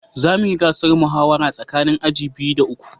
Za mu yi gasar muhawara tsakanin aji biyu da uku